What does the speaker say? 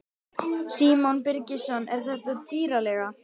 Símon Birgisson: Er þetta dýr leiga?